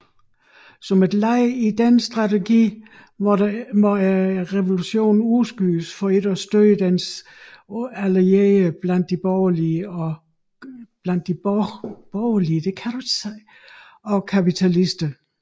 Som led i denne strategi måtte revolutionen udskydes for ikke at støde dens allierede blandt de borgerlige og kapitalisterne